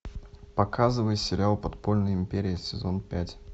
показывай сериал подпольная империя сезон пять